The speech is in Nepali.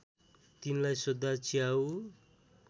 तिनलाई सोध्दा च्याउ